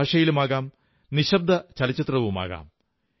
ഏതു ഭാഷയിലുമാകാം നിശ്ശബ്ദചലചിത്രവുമാകാം